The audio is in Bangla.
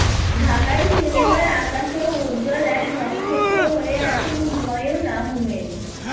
ঢাকাই সিনেমার আকাশেও উজ্জ্বল এক নক্ষত্র হয়ে আছেন হুমায়ূন আহমেদ